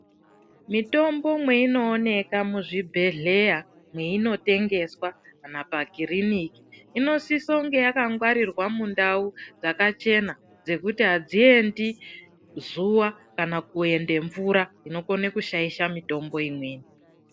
Mitombo mwei nooneka mu zvibhedhleya meino tengeswa kana pa kiriniki ino sisira kunge yaka ngwarirwa mu ndau dzakachena dzekuti adzii endi zuva kana kuenda mvura inokone kushaisha mitombo imweni.